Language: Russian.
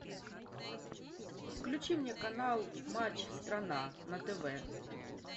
включи мне канал матч страна на тв